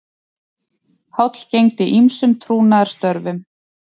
Páll gegndi ýmsum trúnaðarstörfum